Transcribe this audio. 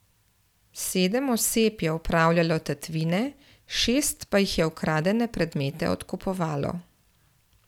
Sedem oseb je opravljalo tatvine, šest pa jih je ukradene predmete odkupovalo.